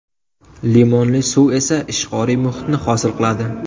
Limonli suv esa ishqoriy muhitni hosil qiladi.